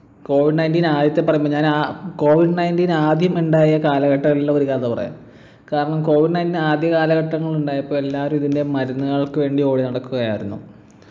covid nineteen ആദ്യത്തെ പറയുമ്പൊ ഞാനാ covid nineteen ആദ്യം ഉണ്ടായ കാലഘട്ട ഉള്ള ഒരു കഥ പറയാം കാരണം covid nineteen ആദ്യ കാലഘട്ടങ്ങളിൽ ഉണ്ടായപ്പൊ എല്ലാരും ഇതിൻ്റെ മരുന്നുകൾക്ക് വേണ്ടി ഓടി നടക്കുകയായിരുന്നു